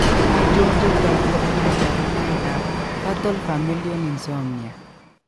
Achon chetogu ak kaborunoik ab Fatal familial insomnia